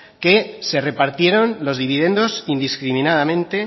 que se repartieron los dividendos indiscriminadamente